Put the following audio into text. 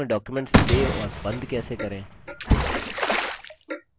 calc में document save और बंद कैसे करें